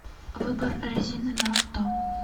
выбор резины на авто